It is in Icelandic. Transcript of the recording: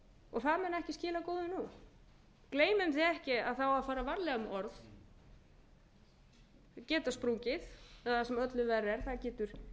og það mun ekki skila góðu núna gleymum því ekki að það á að fara varlega með orð þau geta sprungið eða sem öllu verra er það getur